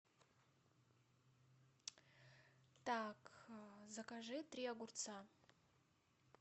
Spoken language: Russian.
так закажи три огурца